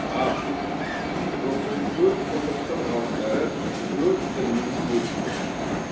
африка бүкіл төрт құрлықтың ғалымдары төрт діннің өкілдері қатысады